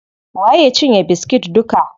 Waye ya cinye biskit duka?